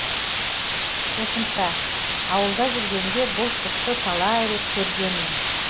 қосымша ауылда жүргенде бұл құсты талай рет көргенмін